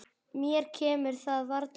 Mér kemur það varla við.